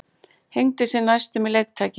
Hengdi sig næstum í leiktæki